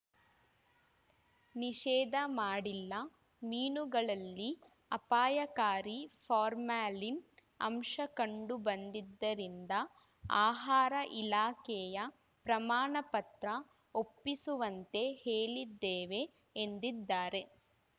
ನಿಷೇಧ ಮಾಡಿಲ್ಲ ಮೀನುಗಳಲ್ಲಿ ಅಪಾಯಕಾರಿ ಫಾರ್ಮಾಲಿನ್‌ ಅಂಶ ಕಂಡುಬಂದಿದ್ದರಿಂದ ಆಹಾರ ಇಲಾಖೆಯ ಪ್ರಮಾಣಪತ್ರ ಒಪ್ಪಿಸುವಂತೆ ಹೇಳಿದ್ದೇವೆ ಎಂದಿದ್ದಾರೆ